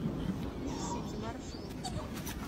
инсити маршрут